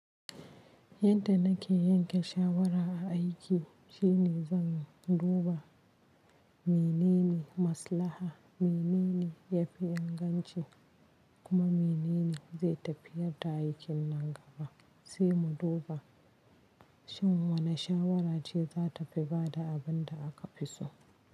Yadda na ke yanke shawara a aiki shine zan duba menene maslaha, menene ya fi inganci kuma menene zai tafiyar da aikin nan gaba. Sai mu duba shin wane shawarar ce za ta fi ba da abin da aka fi so.